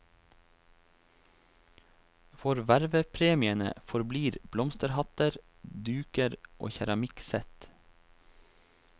For vervepremiene forblir blomsterhatter, duker og keramikksett.